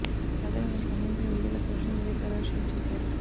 తాజాగా అందుకు సంబంధించిన వీడియోలు సోషల్ మీడియా ద్వారా షేర్ చేశారు